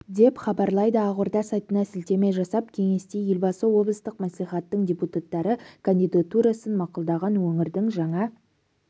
деп хабарлайды ақорда сайтына сілтеме жасап кеңесте елбасы облыстық мәслихаттың депутаттары кандидатурасын мақұлдаған өңірдің жаңа